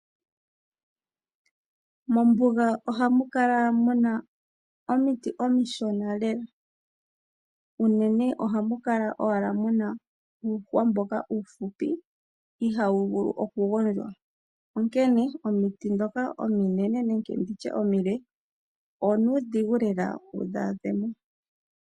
Mombuga ohamu kala muna omiti omishona lela, unene ohamu kala owala muna uuhwa mboka uufupi ihaawu vulu oku gondjwa, onkene omiti dhoka ominene nenge nditye omile onuudhigu lela wudhi a dhe mo.